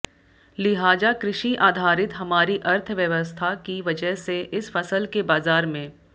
लिहाजा कृषि आधारित हमारी अर्थव्यवस्था की वजह से इस फसल के बाजार में